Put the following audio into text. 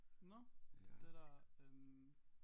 Nåh det der øh